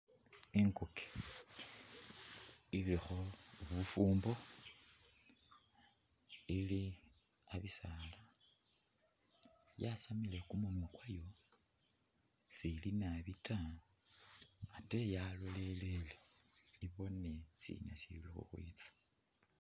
Inguke ilikho bufuumbo ili a'bisaala, yasamile kumunwa kwayo sili nabi ta ate yalolelele ibono sina sili khukhwitsa.